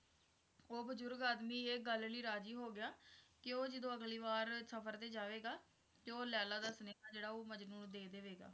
ਉਹ ਬਜ਼ੁਰਗ ਆਦਮੀ ਇਹ ਗੱਲ ਲਈ ਰਾਜ਼ੀ ਹੋ ਗਿਆ ਕੇ ਉਹ ਜਦੋ ਅਗਲੀ ਵਾਰ ਸਫ਼ਰ ਤੇ ਜਾਵੇਗਾ ਤੇ ਉਹ ਲੈਲਾ ਦਾ ਸੁਨੇਹਾ ਜਿਹੜਾ ਉਹ ਮਜਨੂੰ ਨੂੰ ਦੇ ਦੇਵੇਗਾ।